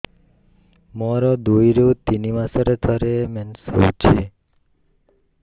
ମୋର ଦୁଇରୁ ତିନି ମାସରେ ଥରେ ମେନ୍ସ ହଉଚି